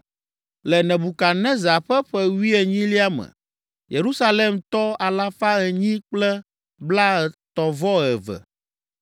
Le Nebukadnezar ƒe ƒe wuienyilia me, Yerusalemtɔ alafa enyi kple blaetɔ̃-vɔ-eve (832);